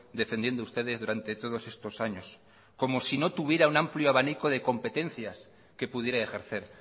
defendiendo ustedes durante todos estos años como si no tuviera un amplio abanico de competencias que pudiera ejercer